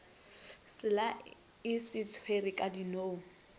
selae sa swiri ka dinong